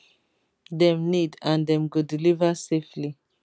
[dem need] and dem go deliver safely